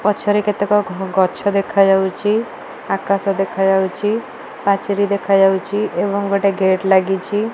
ପଛରେ କେତେକ ଗ ଗଛ ଦେଖାଯାଉଚି। ଆକାଶ ଦେଖା ଯାଉଚି। ପାଚେରୀ ଦେଖା ଯାଉଚି। ଏବଂ ଗୋଟେ ଗେଟ୍ ଲାଗିଚି।